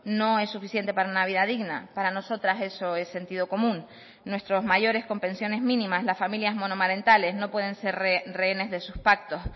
no es suficiente para una vida digna para nosotras eso es sentido común nuestros mayores con pensiones mínimas las familias monomarentales no pueden ser rehenes de sus pactos